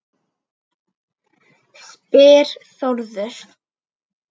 spyr Þórður